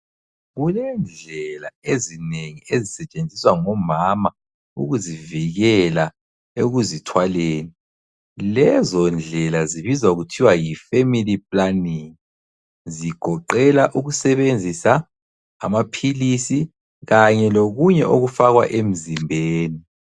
Kulendlela ezinengi ezisetshenziswa ngomama ukuzivikela ekuzithwaleni. Lezondlela zibizwa kuthiwa yi family planning. Zigoqela ukusebenzisa amaphilisi kanye lokunye okufakwa emzimbeni.